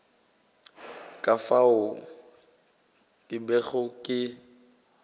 ka fao ke bego ke